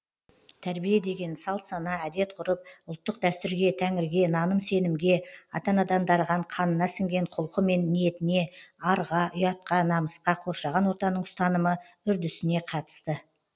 тәрбие деген салт сана әдет ғұрып ұлттық дәстүрге тәңірге наным сенімге ата анадан дарыған қанына сіңген құлқы мен ниетіне арға ұятқа намысқа қоршаған ортаның ұстанымы үрдісіне қатысты